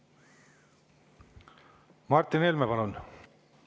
Martin Helme, palun!